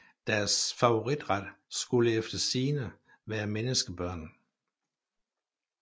Deres favoritret skulle efter sigende være menneskebørn